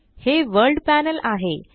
हे वर्ल्ड panelआहे